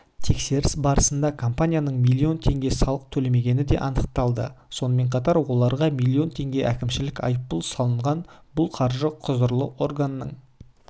тексеріс барысында компанияның миллион теңге салық төлемегені де анықталды сонымен қатар оларға миллион теңге әкімшілік айыппұл салынған бұл қаржы құзырлы органның